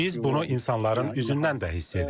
Biz bunu insanların üzündən də hiss edirik.